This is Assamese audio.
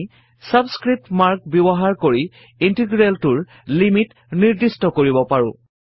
আমি ছাবস্ক্ৰিপ্ট মাৰ্ক ব্যৱহাৰ কৰি ইন্টিগ্ৰেলটোৰ লিমিট নিৰ্দিষ্ট কৰিব পাৰো